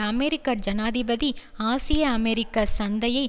அமெரிக்க ஜனாதிபதி ஆசியா அமெரிக்க சந்தையை